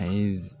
A ye